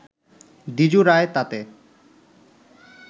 দ্বিজু রায় তাতে